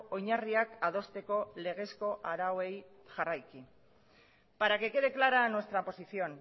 oinarriak adosteko legezko arauei jarraiki para que quede clara nuestra posición